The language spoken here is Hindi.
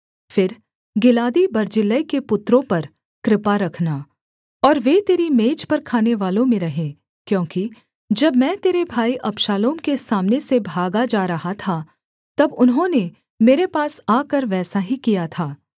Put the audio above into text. फिर गिलादी बर्जिल्लै के पुत्रों पर कृपा रखना और वे तेरी मेज पर खानेवालों में रहें क्योंकि जब मैं तेरे भाई अबशालोम के सामने से भागा जा रहा था तब उन्होंने मेरे पास आकर वैसा ही किया था